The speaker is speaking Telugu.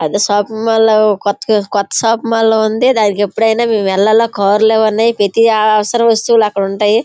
అద షాపింగ్ మాల్ లా కొత్త- కొత్త షాపింగ్ మాల్ లా ఉంది. దానికి ఎప్పుడైనా మేము వెళ్లాలా కార్ లవి ఉన్నాయి. ప్రతి ఆ-అవసర వస్తువులు అక్కడ ఉంటాయి.